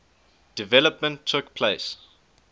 development took place